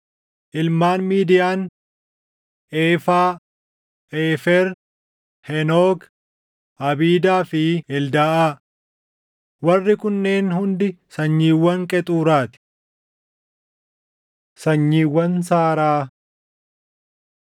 Ilmaan Midiyaan: Eefaa, Eefer, Henook, Abiidaa fi Eldaaʼaa. Warri kunneen hundi sanyiiwwan Qexuuraa ti. Sanyiiwwan Saaraa 1:35‑37 kwf – Uma 36:10‑14